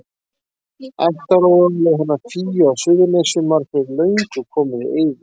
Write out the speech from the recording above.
Ættaróðalið hennar Fíu á Suðurnesjum var fyrir löngu komið í eyði.